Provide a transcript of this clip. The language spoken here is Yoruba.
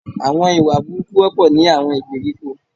Àwon ìwà burúkú wọ́pọ̀ ní àwon ìgbèríko